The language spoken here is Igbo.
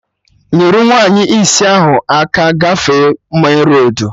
Nyerụ nwaanyị isi ahụ aka gafee menroadu!